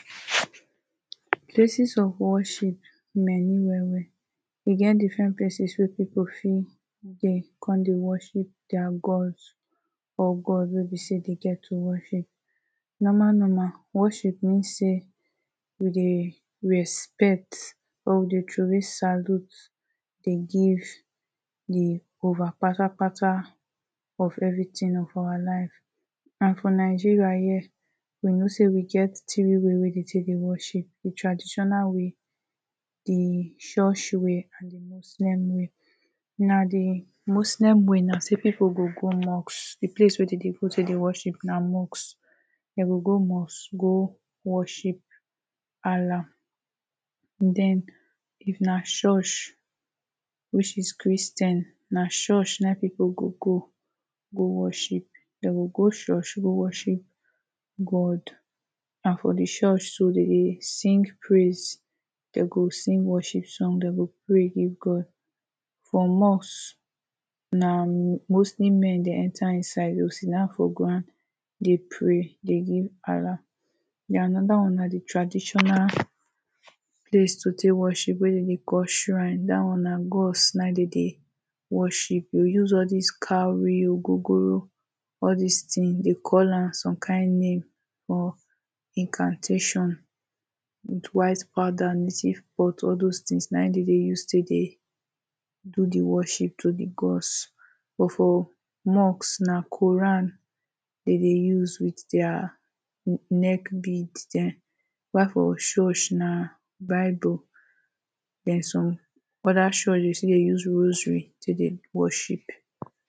Places of worship many well well e get different places people fit dey con dey worship dia gods or God wey be say dem get to worship Normal normal, worship mean say we dey respect or dey throwaway salute dey give the over patapata of everything of our life And for Nigeria here, we know say we get three way wey wey dey take dey worship, traditional way the church way and the Muslim way. Na The Muslim way, na say people go go mosque the place wey dey dey go to the worship na mosque, they go go mosque go worship Allah. den if na church which is Christian, na church na im people go go, go worship, dem go go church go worship God Na for the church so dey go sing praise, they go sing worship, they go pray give God For mosque, na mostly men dey enter inside, they go sit-down for ground dey pray dey give Allah den another one na the traditional place to take worship wey dey dey call shrine, that one na gods dem dey worship they go use all these cowries, ogogoro, all dis thing, they call am some kind name or incantation with white powder and native pot, all dos things na im dem dey take use do worship to the gods But for mosque na Quran dem dey use with dia neck bead dem while for church na bible